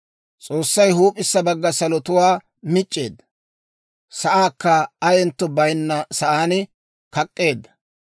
S'oossay huup'issa bagga salotuwaa mic'c'eedda; sa'aakka ayentto bayinna saan kak'k'eedda.